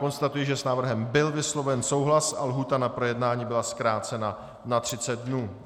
Konstatuji, že s návrhem byl vysloven souhlas a lhůta na projednání byla zkrácena na 30 dnů.